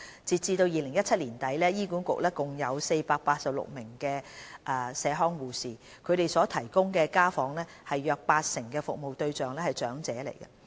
截至2017年年底，醫管局共有486名社康護士，他們所提供的家訪中約八成的服務對象為長者。